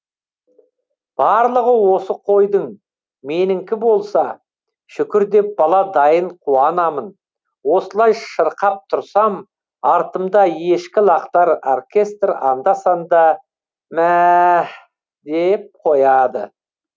барлығы осы қойдың меніңкі болса шүкір деп бала дайын қуанамын осылай шырқап тұрсам артымда ешкі лақтар оркестр анда санда мәәәәәһ деп қояды